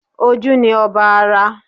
Ojú ni ọba ara